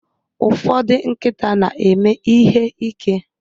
Ụfọdụ nkịta na-eme ihe ike.